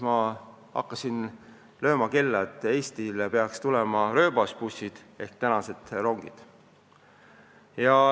Ma hakkasin siis lööma kella, et Eestisse peaks tulema rööbasbussid ehk tänapäevased rongid.